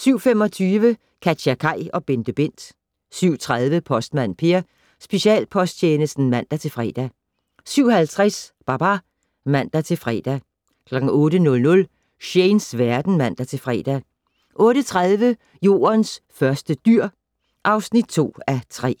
07:25: KatjaKaj og BenteBent 07:30: Postmand Per: Specialposttjenesten (man-fre) 07:50: Babar (man-fre) 08:00: Shanes verden (man-fre) 08:30: Jordens første dyr (2:3)